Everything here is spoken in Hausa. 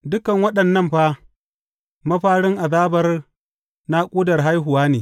Dukan waɗannan fa, mafarin azabar naƙudar haihuwa ne.